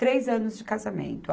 Três anos de casamento.